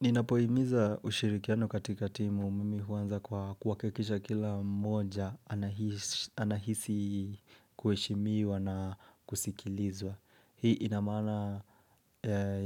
Ninapoimiza ushirikiano katika timu mimi huanza kwa kuhakikisha kila mmoja, anahisi kueshimiwa na kusikilizwa. Hii inamaana